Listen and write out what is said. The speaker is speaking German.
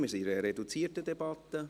Wir sind in einer reduzierten Debatte.